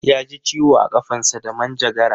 Yaji ciwo a ƙafansa da manjagara